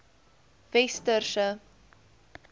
westerse